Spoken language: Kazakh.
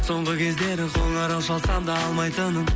соңғы кездері қоңырау шалсам да алмайтының